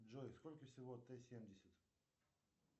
джой сколько всего т семьдесят